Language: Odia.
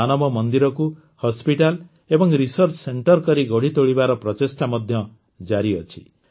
ମାନବ ମନ୍ଦିରକୁ ହସ୍ପିଟାଲ ଏବଂ ରିସର୍ଚ୍ଚ ସେଣ୍ଟରେ କରି ଗଢ଼ିତୋଳିବାର ପ୍ରଚେଷ୍ଟା ମଧ୍ୟ ଜାରି ଅଛି